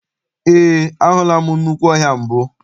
Eé, ahụla m nnukwu ọhịa mbụ.